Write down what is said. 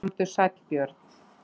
Komdu sæll Björn.